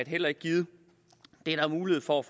heller ikke givet der er mulighed for at